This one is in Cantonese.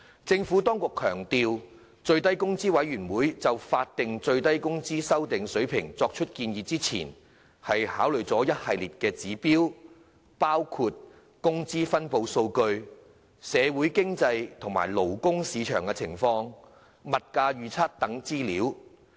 政府當局強調，最低工資委員會就法定最低工資水平的修訂作出建議前，考慮了一系列指標，包括工資分布數據、社會經濟及勞工市場情況、物價預測等資料。